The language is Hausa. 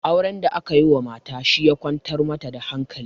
Auren da aka yi mata shi ya kwantar mata da hankali